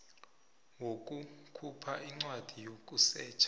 wokukhupha incwadi yokusetjha